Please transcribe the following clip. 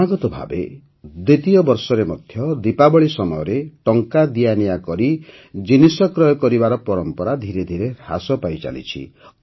କ୍ରମାଗତ ଭାବେ ଦ୍ୱିତୀୟ ବର୍ଷରେ ମଧ୍ୟ ଦୀପାବଳୀ ସମୟରେ ଟଙ୍କା ଦିଆନିଆ କରି ଜିନିଷ କ୍ରୟ କରିବାର ପରମ୍ପରା ଧିରେ ଧିରେ ହ୍ରାସ ପାଇ ଚାଲିଛି